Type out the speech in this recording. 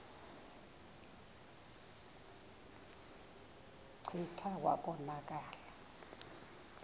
kclta wa konakala